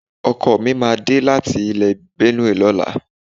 Ọkọ mi máa dé láti ilè Benue lọ́la.